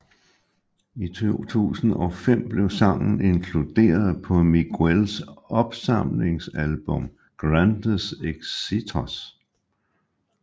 I 2005 blev sangen inkluderet på Miguels opsamlingsalbum Grandes Éxitos